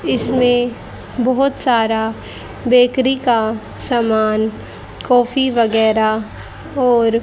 इसमें बहुत सारा बेकरी का सामान कॉफी वगैरह और--